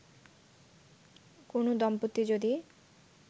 কোন দম্পতি যদি